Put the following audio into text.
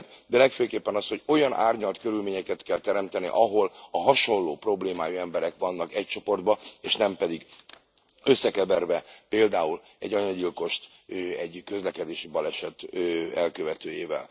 De legfőképpen az, hogy olyan árnyalt körülményeket kell teremteni, ahol a hasonló problémájú emberek vannak egy csoportban, és nem pedig összekeverve, például egy anyagyilkost egy közlekedési baleset elkövetőjével.